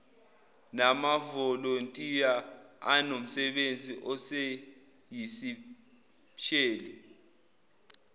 namavolontiya anomsebenzi oyisipesheli